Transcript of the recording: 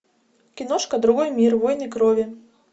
киношка другой мир войны крови